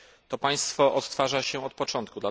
To państwo odtwarza się od początku.